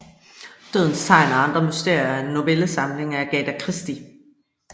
Dødens tegn og andre mysterier er en novellesamling af Agatha Christie